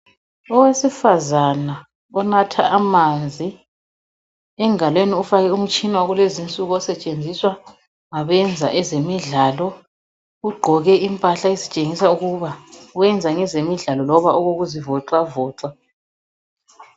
Owesifazana onatha amanzi. Engalweni ufake umtshina wakulezinsuku osetshenziswa ngabenza ezemidlalo. Ugqoke impahla ezitshengisa ukuba wenza ngezemidlalo loba okokuzivoxavoxa.